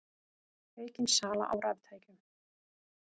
Aukin sala á raftækjum